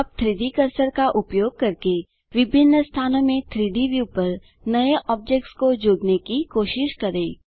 अब 3डी कर्सर का उपयोग करके विभिन्न स्थानों में 3डी व्यू पर नए ऑब्जेक्ट्स को जोड़ने की कोशिश करें